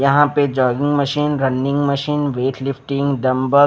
यहाँ पे jogging machine running machine weightlifting dumbbell --